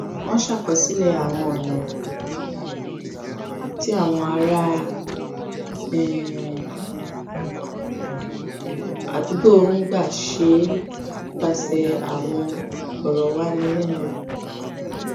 wọn ṣàkọsílẹ àwọn ọnà um tí àwọn ará um àdúgbò ń gbà ṣe é nípasẹ àwọn ìfọrọwánilẹnuwò